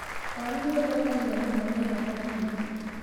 Waru nĩ ũthũkagio mũno nĩ heho nyingĩ.